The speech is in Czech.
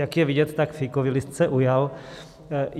Jak je vidět, tak fíkový list se ujal.